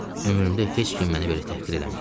Ömrümdə heç kim məni belə təhqir eləməyib.